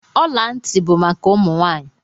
Ọla ntị bụ maka ụmụ nwaanyi.